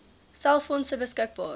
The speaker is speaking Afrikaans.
stel fondse beskikbaar